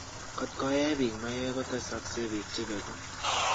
kotee koeee biik maiywek kotesakse biik chepegu